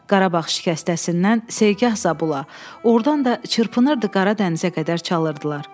Qarabağ şikəstəsindən Segah Zabula, ordan da çırpınırdı Qara Dənizə qədər çalınırdılar.